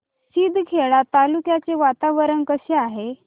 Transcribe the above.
शिंदखेडा तालुक्याचे वातावरण कसे आहे